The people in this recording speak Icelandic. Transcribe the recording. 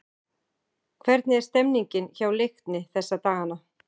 Hvernig er stemmningin hjá Leikni þessa dagana?